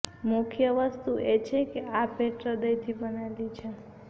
મુખ્ય વસ્તુ એ છે કે આ ભેટ હૃદયથી બનેલી છે